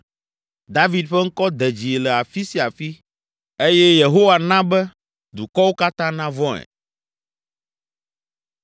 David ƒe ŋkɔ de dzi le afi sia afi eye Yehowa na be dukɔwo katã navɔ̃e.